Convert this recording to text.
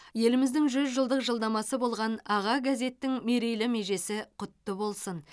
еліміздің жүз жылдық жылнамасы болған аға газеттің мерейлі межесі құтты болсын